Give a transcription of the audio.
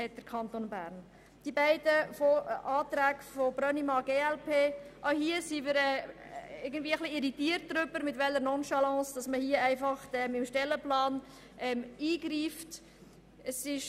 Zu den Planungserklärungen Brönnimann, glp: Auch hier sind wir etwas irritiert darüber, mit welcher Nonchalance man in den Stellenplan eingreifen will.